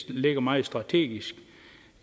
det ligger meget strategisk